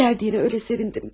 Gəldiyinə elə sevindim ki.